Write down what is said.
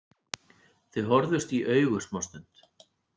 Þau horfðust í augu smástund.